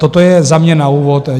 Toto je za mě na úvod.